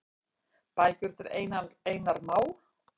Bækur eftir Einar Má.